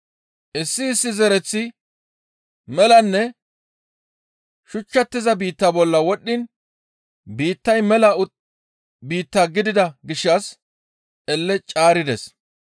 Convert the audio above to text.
Issi issi zereththi melanne shuchchatiza biitta bolla wodhdhiin biittay mela biitta gidida gishshas elle caarides.